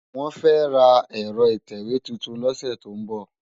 Wòn fè rá èrò itèwé tútún lòsè tó n bò